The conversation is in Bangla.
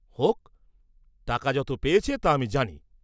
হোক, টাকা যত পেয়েছে, তা আমি জানি!